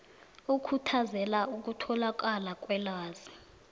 okhuthazela ukutholakala kwelwazi